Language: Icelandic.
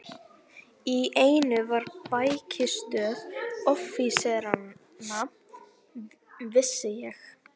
Í einu var bækistöð offíseranna, vissi ég.